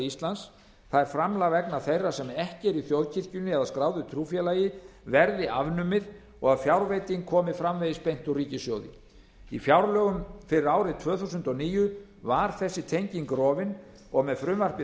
íslands það er framlag vegna þeirra sem ekki eru í þjóðkirkjunni eða skráðu trúfélagi verði afnumið og að fjárveiting komi framvegis beint úr ríkissjóði í fjárlögum fyrir árið tvö þúsund og níu var þessi tenging rofin og með frumvarpi þessu